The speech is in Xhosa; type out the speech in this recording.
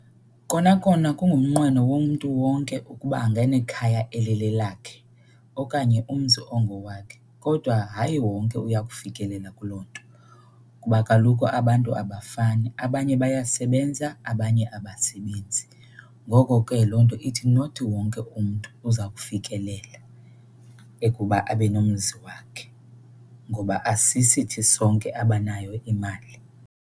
Kona kona kungumnqweno womntu wonke ukuba anganekhaya elilelakhe okanye umzi ongowakhe, kodwa hayi wonke uya kufikelela kuloo nto kuba kaloku abantu abafani. Abanye bayasebenza abanye abasebenzi, ngoko ke loo nto ithi not wonke umntu uza kufikelela ekuba abe nomzi wakhe ngoba asisithi sonke abanayo imali.